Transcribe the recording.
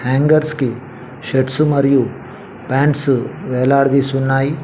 Hangers కి shirts మరియు pants వేలాడదీసి ఉన్నాయ్.